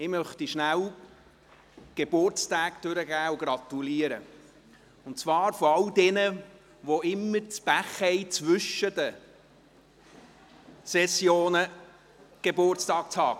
Ich möchte die Geburtstage bekannt geben und gratulieren, und zwar all jenen, die immer das Pech haben, zwischen den Sessionen Geburtstag zu haben.